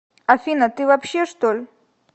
афина ты вообще чтоль